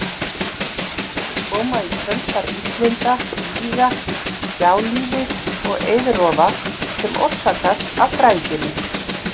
Þau koma í kjölfar illinda, víga, gjálífis og eiðrofa sem orsakast af græðginni.